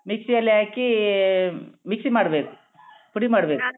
Mixie ಅಲ್ಲಿ ಹಾಕೀ mixie ಮಾಡ್ಬೇಕು ಹುಡಿಮಾಡ್ಬೇಕು.